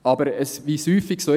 Aber wie es häufig ist: